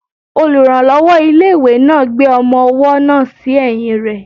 Olùrànlọ́wọ́ ilé-ìwé náà gbé ọmọ-ọwọ́ náà sí ẹ̀yìn rẹ